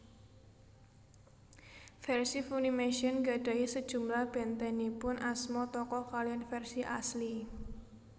Versi Funimation nggadahi sejumlah bentenipun asma tokoh kaliyan versi asli